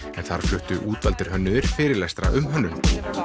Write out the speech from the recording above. en þar fluttu útvaldir hönnuðir fyrirlestra um hönnun